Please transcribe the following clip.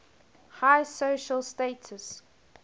high social status